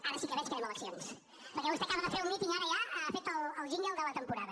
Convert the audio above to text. ara sí que veig que anem a eleccions perquè vostè acaba de fer un míting ara ja ha fet el jingle de la temporada